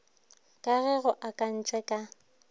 ka ge go akantšwe ka